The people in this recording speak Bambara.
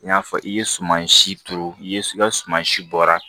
N y'a fɔ i ye suman si turu i ye i ka suman si bɔra